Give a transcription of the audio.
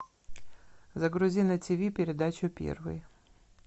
загрузи на тв передачу первый